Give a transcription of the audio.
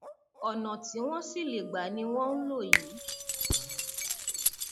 ọnà tí wọn sì lè gba ni wọn ń lò yìí